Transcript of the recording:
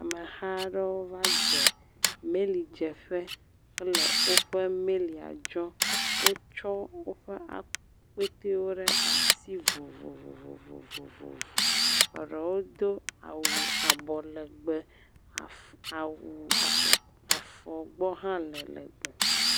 amehaɖewo va dze mɛli dzeƒe hele wóƒe mɛlia dzɔm wótsɔ wóƒe akpɛtɛwo ɖasi vovovovovo eɖewo dó awu abɔ legbe awu afɔ gbɔ hã le legbe